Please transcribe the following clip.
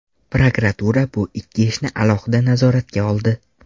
Prokuratura bu ikki ishni alohida nazoratga oldi.